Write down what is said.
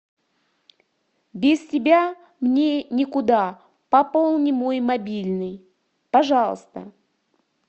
без тебя мне никуда пополни мой мобильный пожалуйста